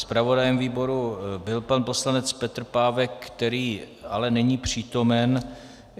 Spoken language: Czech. Zpravodajem výboru byl pan poslanec Petr Pávek, který ale není přítomen.